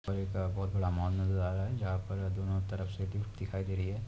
और एक-अ बहोत बड़ा मॉल नज़र आ रहा है जहाँपर दोनों तरफ से लिफ्ट दिखाई दे रही है ।